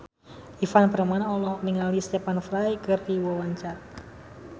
Ivan Permana olohok ningali Stephen Fry keur diwawancara